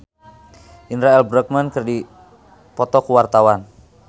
Indra L. Bruggman jeung Maher Zein keur dipoto ku wartawan